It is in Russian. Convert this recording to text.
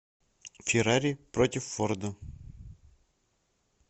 феррари против форда